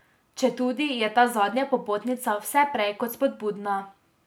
Četudi je ta zadnja popotnica vse prej kot spodbudna.